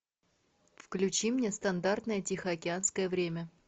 включи мне стандартное тихоокеанское время